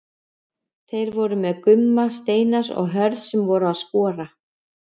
Þeir voru með Gumma Steinars og Hörð sem voru að skora.